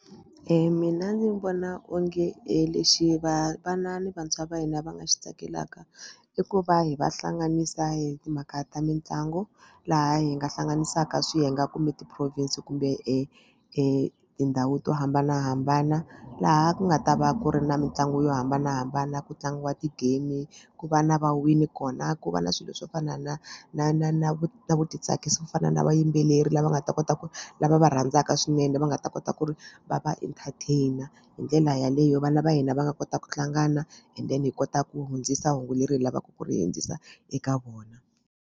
Mina ndzi vona onge lexi va vana ni vantshwa va hina va nga xi tsakelaka i ku va hi va hlanganisa hi timhaka ta mitlangu laha hi nga hlanganisaka swiyenge kumbe ti-province kumbe tindhawu to hambanahambana laha ku nga ta va ku ri na mitlangu yo hambanahambana ku tlangiwa ti-game ku va na va wini kona ku va na swilo swo fana na na na na na vutitsakisi swo fana na vayimbeleri lava nga ta kota ku lava va rhandzaka swinene va nga ta kota ku ri va va entertain hi ndlela yaleyo vana va hina va nga kota ku hlangana and then hi kota ku hundzisa hungu leri hi lavaka ku ri hundzisa eka vona.